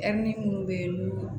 Ɛri munnu be yen n'u